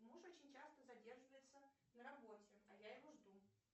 муж очень часто задерживается на работе а я его жду